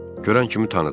Görən kimi tanıdım.